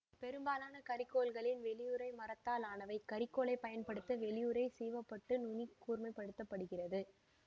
பெரும்பாலுமான கரிக்கோல்களின் வெளியுறை மரத்தால் ஆனவை கரிக்கோலைப் பயன்படுத்த வெளியுறை சீவிவிடப்பட்டு நுனி கூர்மைப்படுத்தப்படுகிறது